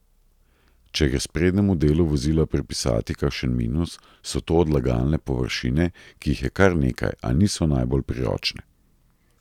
Če gre sprednjemu delu vozila pripisati kakšen minus, so to odlagalne površine, ki jih je kar nekaj, a niso najbolj priročne.